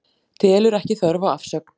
Telur ekki þörf á afsögn